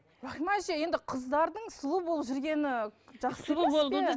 рахима әже енді қыздардың сұлу болып жүргені жақсы емес пе